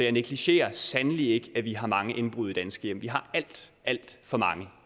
jeg negligerer sandelig ikke at vi har mange indbrud i danske hjem vi har alt alt for mange